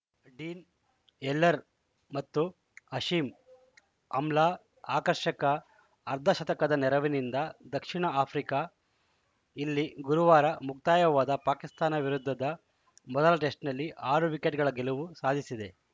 dean Elgar ಮತ್ತು Hashim Amla ಆಕರ್ಷಕ ಅರ್ಧಶತಕದ ನೆರವಿನಿಂದ ದಕ್ಷಿಣ ಆಫ್ರಿಕಾ ಇಲ್ಲಿ ಶುಕ್ರವಾರ ಮುಕ್ತಾಯವಾದ ಪಾಕಿಸ್ತಾನ ವಿರುದ್ಧದ ಮೊದಲ ಟೆಸ್ಟ್‌ನಲ್ಲಿ ಆರು ವಿಕೆಟ್‌ಗಳ ಗೆಲುವು ಸಾಧಿಸಿದೆ